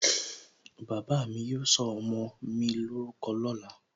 Bàbá mi yóò sọ ọmọ mi lórúkọ lóla